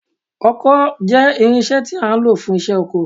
Ọkọ́ jẹ́ irinṣẹ́ tí a ń lò fún iṣẹ́ oko